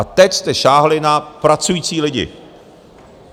A teď jste sáhli na pracující lidi.